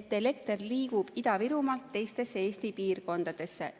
et elekter liigub Ida-Virumaalt teistesse Eesti piirkondadesse.